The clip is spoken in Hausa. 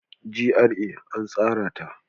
GRA an tsara ta.